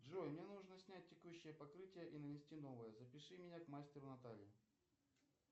джой мне нужно снять текущее покрытие и нанести новое запиши меня к мастеру наталье